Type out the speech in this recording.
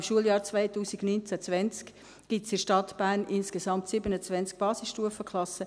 Im Schuljahr 2019/20 gibt es in der Stadt Bern insgesamt 27 Basisstufenklassen.